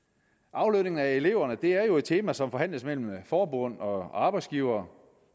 aflønningen af eleverne er jo et tema som forhandles mellem forbund og arbejdsgivere